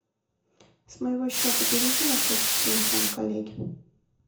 с моего счета переведи на счет телефона коллеги